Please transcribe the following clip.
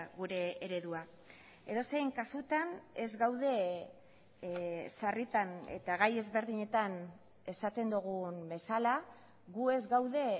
gure eredua edozein kasutan ez gaude sarritan eta gai ezberdinetan esaten dugun bezala gu ez gaude